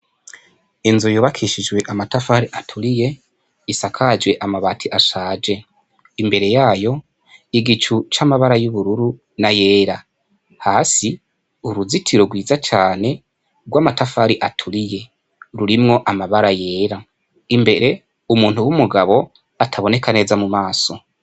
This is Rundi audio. Inzu yubakishijwe amatafari aturiye, isakajwe amabati ashaje .Imbere yayo igicu c 'amabara y'ubururu n'ayera hasi ,uruzitiro rwiza cane rw' amatafari aturiye rurimwo amabara yera , imbere umuntu w' umugabo ataboneka neza mu maso.